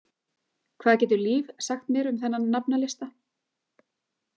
Hvað getur Líf sagt mér um þennan nafnalista?